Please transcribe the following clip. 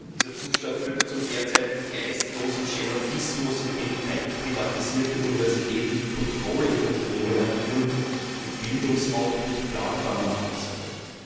Dieser Zustand führte zum derzeitigen geistlosen Schematismus, indem teilprivatisierte Universitäten wie Unternehmen agieren, die Bildungsoutput planbar machen sollen.